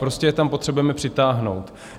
Prostě je tam potřebujeme přitáhnout.